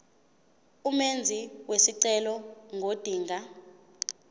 umenzi wesicelo ngodinga